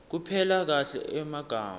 kupela kahle emagama